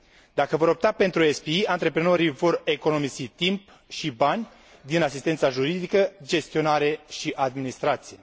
Dacă vor opta pentru SPE, antreprenorii vor economisi timp și bani din asistența juridică, gestionare și administrație.